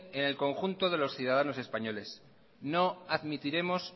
en el conjunto de los ciudadanos españoles no admitiremos